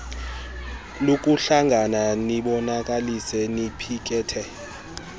lokuhlangana nibonakalise niphikethe